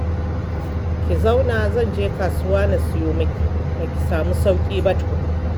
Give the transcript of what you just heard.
Ki zauna zan je kasuwar na siyo miki, ba ki samu sauƙi ba tukun